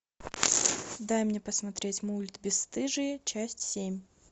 дай мне посмотреть мульт бесстыжие часть семь